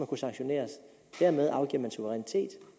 kunne sanktioneres dermed afgiver man suverænitet og